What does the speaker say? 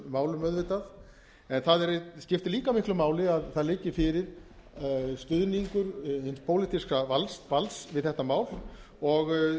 málum auðvitað en það skiptir líka miklu máli að það liggi fyrir stuðningur hins pólitíska valds við þetta mál og